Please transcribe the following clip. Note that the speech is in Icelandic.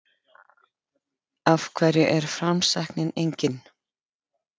Af hverju er framsæknin engin?